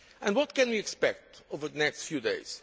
days. What can we expect over the next few